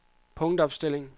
punktopstilling